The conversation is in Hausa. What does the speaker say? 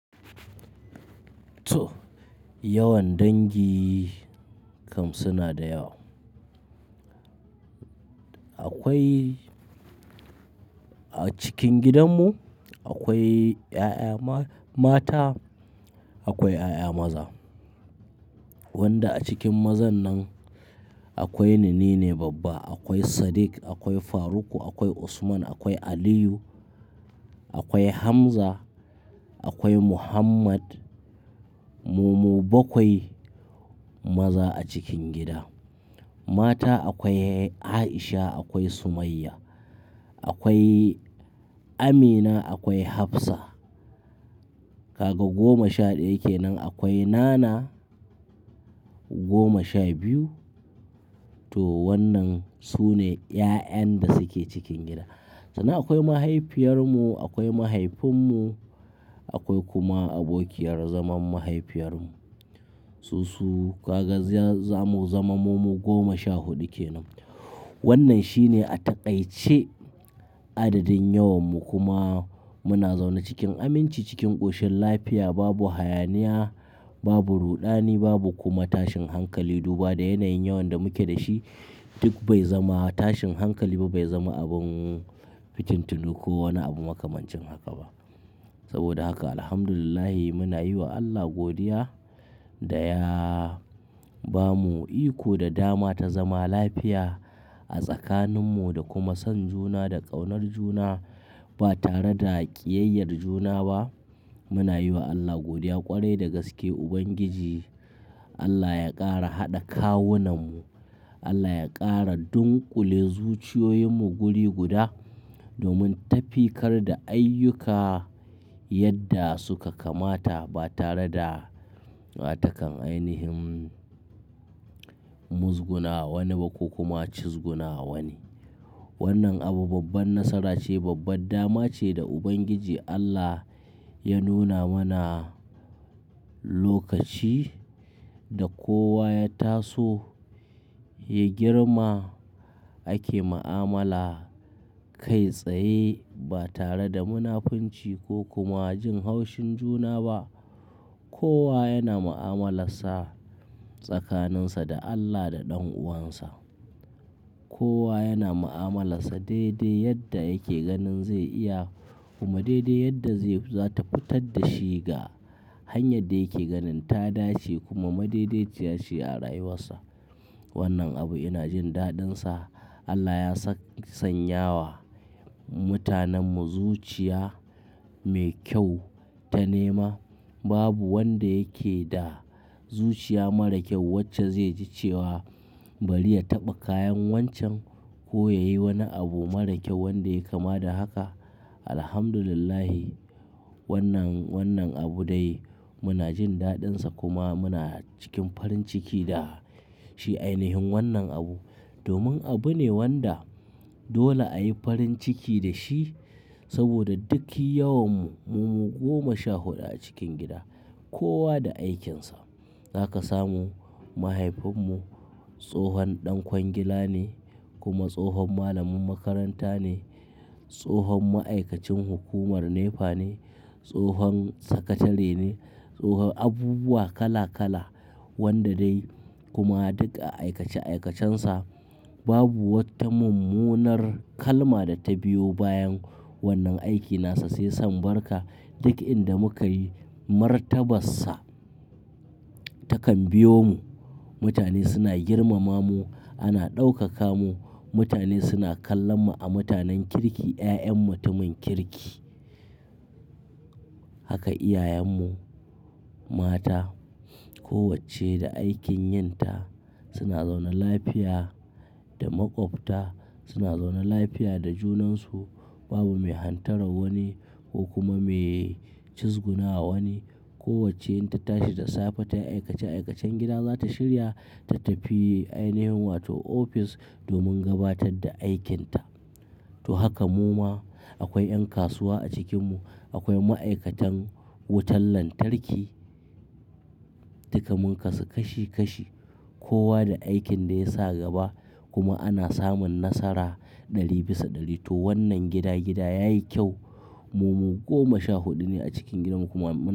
To, yawan dangi kam suna da yawa. Akwai a cikin gidanmu, akwai 'ya'ya ma-mata, akwai 'ya'ya maza. Wanda a cikin mazan nan akwai ni, nine babba, akwai Sadiq, akwai Faruk, akwai Usman, akwai Aliyu, akwai Hamza, akwai Muhammad. Mu-mu bakwai maza a cikin gida. Mata akwai Aisha, akwai Sumayya, akwai Amina, akwai Hafsa. Kaga goma sha daya ke nan. Akwai Nana goma sha biyu. To wannan su ne 'ya'yan da suke cikin gida. Sannan akwai mahaifiyar mu, akwai mahaifin mu, akwai kuma abokiyar zaman mahaifiyar mu. Su su kaga ziya zamu zama mu goma sha huɗu ke nan. Wannan shine a taƙaice adadin yawanmu kuma muna zaune cikin aminci cikin ƙoshin lafiya. Babu hayaniya, babu ruɗani, babu kuma tashin hankali. Duba da yanayin yawan da mu ke da shi duk bai zama tashin hankali ba, bai zama abin fitintinu ko wani abu makamancin haka ba. Saboda haka alhamdulillah muna yi wa Allah godiya da ya ba mu iko da dama ta zama lafiya a tsakanin mu da kuma son juna da ƙaunar juna ba tare da ƙiyayyar juna ba. Muna yi wa Allah godiya ƙwarai da gaske Ubangiji, Allah ya ƙara haɗa kawunan mu. Allah ya ƙara dunƙule zuciyoyin mu guri guda domin tafiyar da ayyuka yadda suka kamata ba tare da watakan ainihin muzguna wani ba ko kuma cizguna wani. Wannan abu babban nasara ce, babban dama ce da Ubangiji Allah ya nuna mana lokaci da kowa ya taso ya girma ake mu'amala kai tsaye ba tare da munafunci ko kuma jin haushin juna ba. Kowa yana mu'amalarsa tsakaninsa da Allah da ɗan'uwansa. Kowa yana mu'amalarsa daidai yadda yake ganin zai iya kuma daidai yadda zai-za ta fitar da shi ga hanyar da yake ganin ta dace kuma mai daidaiciyace a rayuwarsa. Wannan abu ina jin daɗinsa. Allah ya sanya wa mutanen mu zuciya mai kyau ta nema. Babu wanda yake da zuciya mara kyau wacce zai ji cewa bari ya taɓa kayan wancan ko ya yi wani abu mara kyau wanda ya kama da haka. Alhamdulillah wannan, wannan abu dai muna jin daɗinsa kuma muna cikin farin ciki da shi ainihin wannan abu. Domin abune wanda dole ayi farinciki dashi saboda duk yawanmu mu mu goma sha huɗu acikin gida kowa da aikinsa. Za ka samu mahaifin mu tsohon ɗan kwangila ne kuma tsohon malamin makaranta ne, tsohon ma'aikacin hukumar NEPA ne, tsohon sakatare ne, tsohon abubuwa kala kala wanda dai kuma duk a aikace aikacensa babu wata mummunar kalma da ta biyo bayan wannan aikin nasa sai san barka. Duk inda muka yi martabarsa takan biyomu. Mutane suna girmama mu, ana ɗaukaka mu. Mutane suna kallon mu a mutanen kirki, 'ya'yan mutumin kirki. Haka iyayen mu mata kowacce da aikin yin ta suna zaune lafiya da maƙwabta, suna zaune lafiya da junansu. Babu mai hantaran wani ko kuma mai cizgunawa wani. Kowacce in ta tashi da safe ta yi aikace aikacen gida, za ta shirya ta tafi ainihin wato ofis domin gabatar da aikinta. To haka mu ma akwai 'yan kasuwa a cikin mu, akwai ma'aikatan wutan lantarki, dukamun kasuka kashi kashi, kowa da aikin da ya sa gaba kuma ana samun nasara ɗari bisa ɗari. To wannan gida gida yayi kyau. Mu mu goma sha huɗu ne a cikin gidan kuma mu.